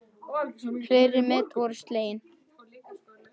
Fleiri met voru slegin.